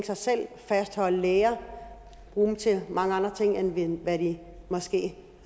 sig selv fastholde læger bruge dem til mange andre ting end hvad de måske